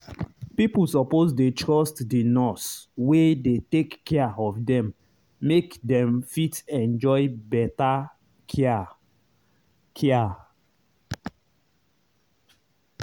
pipo suppose dey trust the nurse wey dey take care of them make them fit enjoy better care. care.